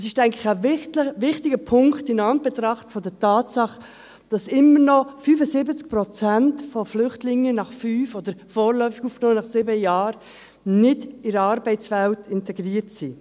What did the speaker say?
Es ist, denke ich, ein wichtiger Punkt, in Anbetracht der Tatsache, dass immer noch 25 Prozent der Flüchtlinge nach 5 Jahren, oder vorläufig Aufgenommenen nach 7 Jahren, nicht in der Arbeitswelt integriert sind.